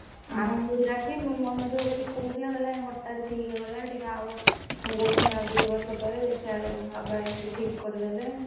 ଆଉ କହୁଥିଲା ଆସି ମନ ଦୁଖ କରି କରୁଥିଲା କହିଲା ଆଉ ହଠାତ୍‌ ଠିକ ହେଇଗଲା ଟିକେ ଆଉ ମୁଁ କହୁଥିଲି ଆଉ ଦି ବର୍ଷ ପରେ ଦେଖିଲା ବେଳକୁ ବାବା ଏମିତି ଠିକ କରିଦେଲେ।